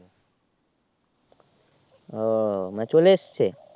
ও মানে চলে এসছে